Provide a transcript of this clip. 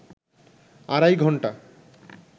আড়াই ঘণ্টা